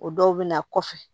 O dɔw bɛ na kɔfɛ